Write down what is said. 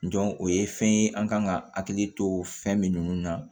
o ye fɛn ye an kan ka hakili to fɛn min na